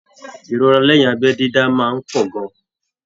Ìrora lẹyìn abẹ dídá máa n pọ gan-an.